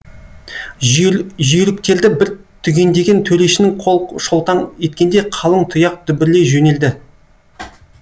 жүйріктерді бір түгендеген төрешінің қол шолтаң еткенде қалың тұяқ дүбірлей жөнелді